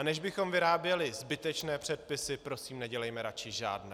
A než bychom vyráběli zbytečné předpisy, prosím, nedělejme radši žádné.